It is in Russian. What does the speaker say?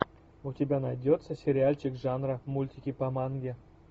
у тебя найдется сериальчик жанра мультики по манге